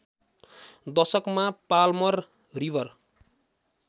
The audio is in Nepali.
दशकमा पाल्मर रिवर